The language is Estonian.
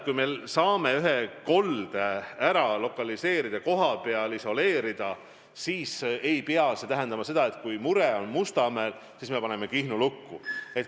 Kui me saame ühe kolde lokaliseerida, kohapeal isoleerida, siis ei pea see tähendama seda, et kui mure on Mustamäel, siis me paneme Kihnu lukku.